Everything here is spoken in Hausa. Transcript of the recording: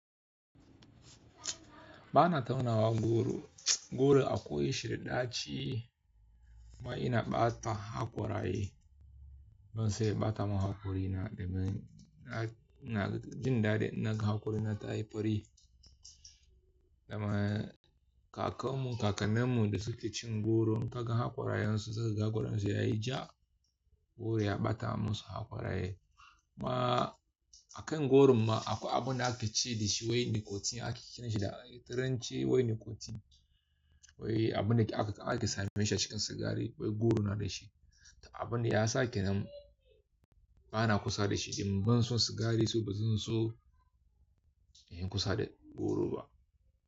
Bana taunawar goro, goro akwai shi ɗa daci kuma ina ɓata haƙora yi ban son ya ɓata ma haƙori na, domin na, ina jin daɗin na ga haƙori na ta yi fari. Domin kaka mu, kaka nan mu da suke cin goro kaga haƙora yan su suka ga goro su yayi ja goro ya ɓata musu haƙora ye. Kuma akan goron ma akwai abun da ake ci da shi wai nikotin ake kiran shi da turanci wai nikotin. Wai abun da ake, ake same shi a cikin sigari wai goro na da shi. Abun da ya sake nan bana kusa da shi, idan ban so sigari sai bazan so in yi kusa da goro ba.